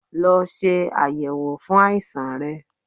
Lọ se ayẹwo fun aisan rẹ